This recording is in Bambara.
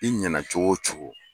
I ɲɛna cogo o cogo